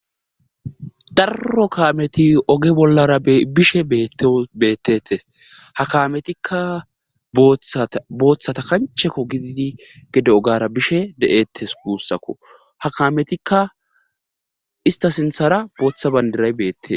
darro kaameti oge bollara bishe ete beettete ha kaametikka booththata kancheko gididi gede ogara bishe de7ettes guussako ha kametikka ista sinthara booththa bandiray beette